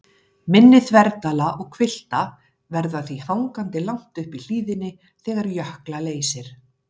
Mynni þverdala og hvilfta verða því hangandi langt uppi í hlíðinni þegar jökla leysir.